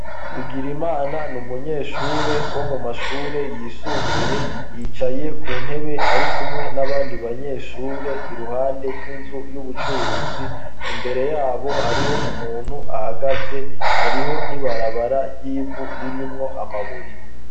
Bigirimana ni umunyeshure wo mu mashure yisumbuye yicaye ku ntebe ari kumwe n'abandi banyeshure iruhande y'inzu y'ubucuruzi, imbere yabo hariho umuntu ahagaze hariho n'ibarabara ry'ivu ririmwo amabuye.